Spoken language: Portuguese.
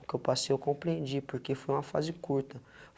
porque eu passei, eu compreendi, porque foi uma fase curta.